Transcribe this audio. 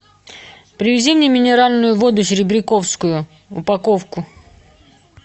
привези мне минеральную воду серебряковскую упаковку